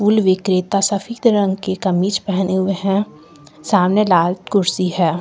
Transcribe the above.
फूल विक्रेता सफेद रंग के कमीज पहने हुए हैं सामने लाल कुर्सी है।